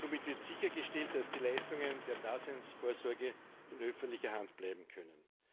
Somit wird sichergestellt, dass die Leistungen der Daseinsvorsorge in öffentlicher Hand bleiben können.